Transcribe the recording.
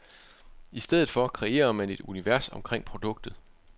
I stedet for kreerer man et univers omkring produktet.